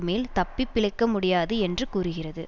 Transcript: மேல் தப்பி பிழைக்க முடியாது என்று கூறுகிறது